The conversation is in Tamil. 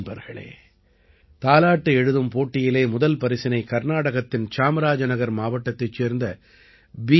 நண்பர்களே தாலாட்டு எழுதும் போட்டியிலே முதல் பரிசினை கர்நாடகத்தின் சாம்ராஜநகர் மாவட்டத்தைச் சேர்ந்த பி